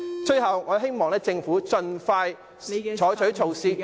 最後，我希望政府盡快採取措施......